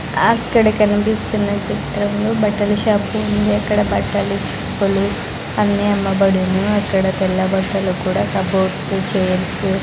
అక్కడ కనిపిస్తున్న చిత్రంలో బట్టల షాపు ఉంది అక్కడ బట్టలు అన్ని అమ్మబడును అక్కడ తెల్ల బట్టలు కూడా కప్ బోర్డ్ చైర్సు --